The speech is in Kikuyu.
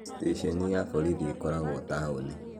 Steshenĩ ya borithi ĩkoragwo taũni